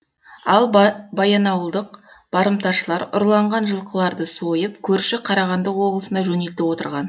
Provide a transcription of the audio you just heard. ал баянауылдық барымташылар ұрланған жылқыларды сойып көрші қарағанды облысына жөнелтіп отырған